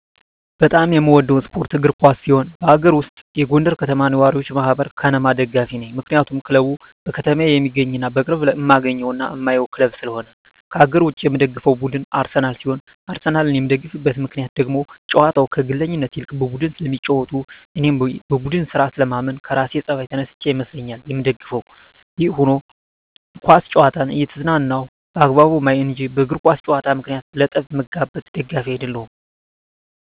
በጣም የምወደው ስፓርት እግር ኳስ ሲሆን ከአገር ውስጥ የጎንደር ከተማ ነዋሪወች ማህበር(ከነማ) ደጋፊ ነኝ ምክንያቱም ክለቡ በከተማየ የሚገኝና በቅርብ እማገኘውና እማየው ክለብ ስለሆነ። ከአገር ውጭ የምደግፈው ቡድን አርሰናል ሲሆን አርሰናልን የምደግፍበት ምክንያት ደግሞ ጨዋታቸው ከግለኝነት ይልቅ በቡድን ስለሚጫወቱ እኔም በቡድን ስራ ስለማምን ከራሴ ጸባይ ተነስቸ ይመስለኛል ምደግፋቸው። ይህም ሁኖ ኳስ ጨዋታን እየተዝናናው በአግባቡ ማይ እንጅ በእግር ኳስ ጨዋታ ምክንያት ለጠብ ምጋበዝ ደጋፊ አደለሁም።